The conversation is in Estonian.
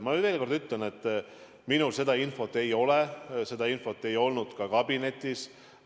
Ma veel kord ütlen, et minul seda infot ei ole, seda infot ei olnud ka kabinetis.